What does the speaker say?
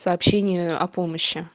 сообщение о помощи